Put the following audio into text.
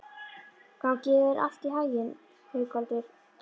Gangi þér allt í haginn, Haukvaldur.